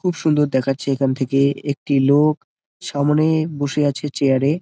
খুব সুন্দর দেখাচ্ছে এখান থেকে একটি লোক সামনে বসে আছে চেয়ার -এ।